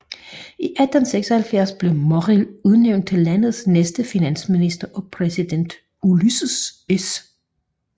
I 1876 blev Morrill udnævnt til landets næste finansminister af præsident Ulysses S